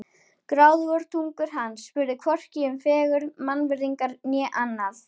Gráðugar tungur hans spurðu hvorki um fegurð, mannvirðingar né annað.